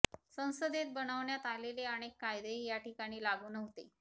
संसदेत बनवण्यात आलेले अनेक कायदेही या ठिकाणी लागू नव्हते